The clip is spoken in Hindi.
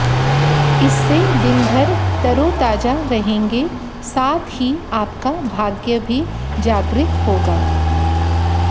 इससे दिनभर तरोताजा रहेंगे साथ ही आपका भाग्य भी जाग्रत होगा